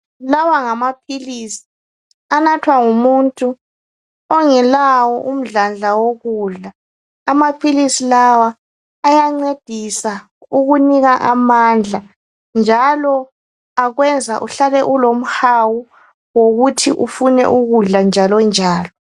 Lawa ngamaphilisi anathwa ngumuntu ongelawo umdladla wokudla. Amaphilisi lawa ayancedisa ukunika amandla njalo akwenza uhlale ulomhawu wokuthi ufune ukudla njalo njalo.